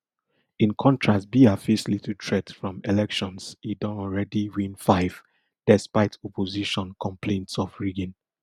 in contrast biya face little threat from elections e don already win five despite opposition complaints of rigging